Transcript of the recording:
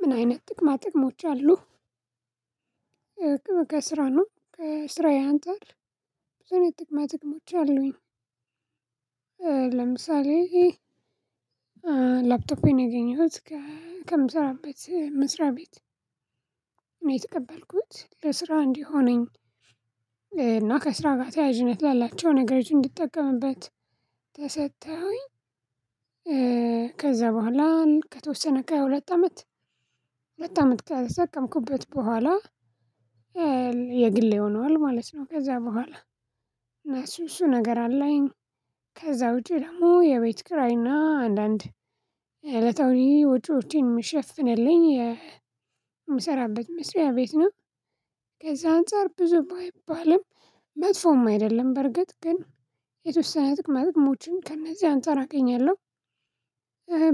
ምን አይነት ጥቅማ ጥቅሞች አሉ ከስራ ነው ከስራዬ አንፃር ብዙ ጥቅማ ጥቅሞች አሉኝ ለምሳሌ ላፕቶፕ ያገኘሁት ከምሰራበት መስራቤት ነው የተቀበልኩት ለስራ እንዲሆነኝ እና ከስራ ጋር ተያዥነት ያላላቸው ነገሮች እንድጠቀምበት ተሰጠሁኝ ከዛ በኋላ ከተወሰነ ከሃያ ሁለት አመት ሁለት አመት ከተጠቀምኩበት በኋላ የግሌ ሆኗል ማለት ነው ከዛ በኋላ እነሱ እሱ ነገር አለኝ ከዛ ውጪ ደግሞ የቤት ክራይና አንዳንድ የዕለታዊ ወጪዎቼን ምሽፍንልኝ የምሰራበት መስሪያ ቤት ነው ከዛ አንፃር ብዙ ባይባልም መጥፎም አይደለም በርግጥ ግን የተወሰነ ጥቅማ ጥቅሞችን ከእነዚህ አንፃር አገኛለሁ